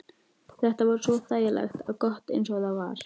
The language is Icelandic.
Þetta var svo þægilegt og gott eins og það var.